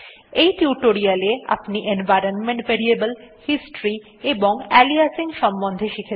এই টিউটোরিয়ালে আপনি এনভাইরনমেন্ট ভ্যারিয়েবলস হিস্টরি এবং আলিয়াসিং এর সম্বন্ধে শিখেছেন